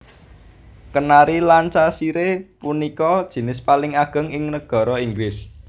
Kenari Lancashire punika jinis paling ageng ing nagara Inggris